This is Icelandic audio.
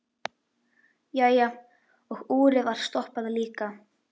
Jæja, og úrið var stoppað líka.